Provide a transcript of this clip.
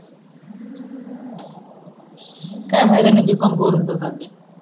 काही फयदा नाही b कॉम करून तर झाले